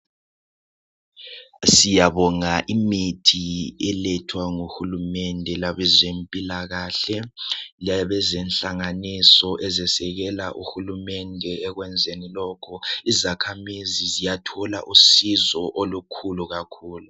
Siyabonga imithi elethwa nguhulumende labezempilakahle labezenhlanganiso ezekela uhulumende ekwenzeni lokhu izakhamizi ziyathola usizo olukhulu kakhulu.